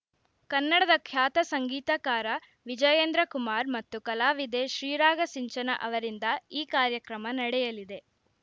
ಕನ್ನಡದ ಖ್ಯಾತ ಸಂಗೀತಕಾರ ವಿಜಯೇಂದ್ರ ಕುಮಾರ್‌ ಮತ್ತು ಕಲಾವಿದೆ ಶ್ರೀರಾಗ ಸಿಂಚನ ಅವರಿಂದ ಈ ಕಾರ್ಯಕ್ರಮ ನಡೆಯಲಿದೆ